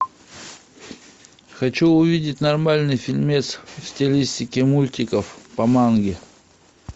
хочу увидеть нормальный фильмец в стилистике мультиков по манге